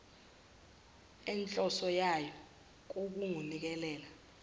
enhloso yayo kungukunikela